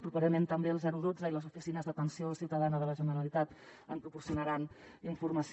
properament també el dotze i les oficines d’atenció ciutadana de la generalitat en proporcionaran informació